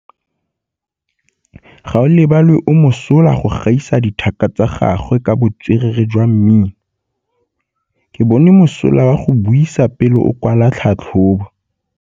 Gaolebalwe o mosola go gaisa dithaka tsa gagwe ka botswerere jwa mmino. Ke bone mosola wa go buisa pele o kwala tlhatlhobô.